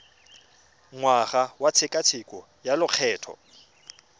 ngwaga wa tshekatsheko ya lokgetho